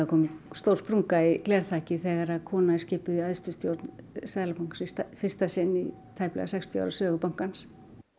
komin stór sprunga í glerþakið þegar kona er skipuð í æðstu stjórn Seðlabankans í fyrsta sinn í tæplega sextíu ára sögu bankans